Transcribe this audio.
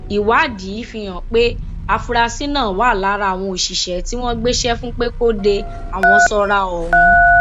ìwádìí fíhàn pé àfúráṣí náà wà lára àwọn òṣìṣẹ tí wọn gbéṣẹ fún pé kó de àwọn sọra ọhún